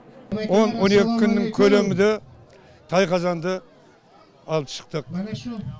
он он екі күннің көлемінде тайқазанды алып шықтық